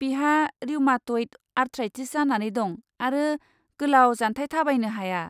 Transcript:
बिहा rheumatoid arthritis जानानै दं आरो गोलाव जान्थाइ थाबायनो हाया।